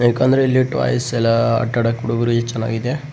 ಬೇಕಂದ್ರೆ ಇಲ್ಲಿ ಟೋಯ್ಸ್ ಎಲ್ಲ ಆಟಾಡಾಕೆ ಹುಡುಗ್ರಿಗೆ ಚೆನ್ನಾಗಿದೆ.